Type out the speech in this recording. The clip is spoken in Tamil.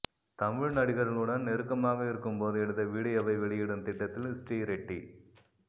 தமிழ் நடிகர்களுடன் நெருக்கமாக இருக்கும் போது எடுத்த வீடியோவை வெளியிடும் திட்டத்தில் ஸ்ரீரெட்டி